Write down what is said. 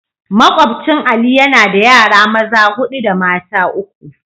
Makwabcin Ali yana da yara maza hudu da mata uku.